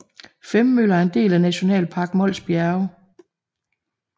Femmøller er en del af Nationalpark Mols Bjerge